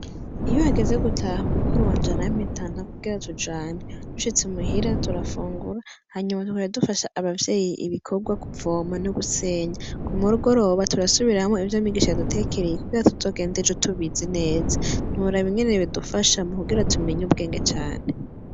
Iyo hageze gutaha umukuru wa njara'mitanta kugera tujane rushitse umuhira turafungura hanyuma twoyadufasha abavyeyi ibikorwa kuvoma no gusenya ku murgoroba turasubirahamwo ivyo migisha yadutekereye ikugera tuzogende jo tubizi neza ntura bingene bidufasha mu kugera tumenya ubwenge cane.